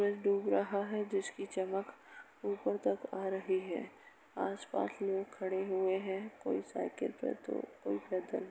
डूब रहा है जिसकी चमक ऊपर तक आ रही है। आसपास लोग खड़े हुए हैं कोई साइकिल पे तो कोई पैदल।